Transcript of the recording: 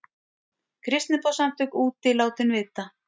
Kristniboðssamtök úti látin vita